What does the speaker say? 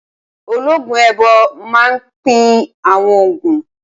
Ológun èèbó máa n pín àwọn ògùn